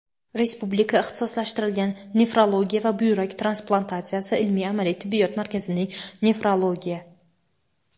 Respublika ixtisoslashtirilgan nefrologiya va buyrak transplantatsiyasi ilmiy-amaliy tibbiyot markazining – nefrologiya.